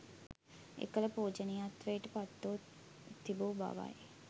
එකල පූජනීයත්වයට පත්ව තිබූ බවයි.